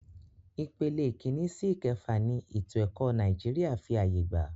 Ìpele ìkínní sí ìkẹfà ni ètò ẹ̀kọ́ Nàìjíríà fí ààyè gbà.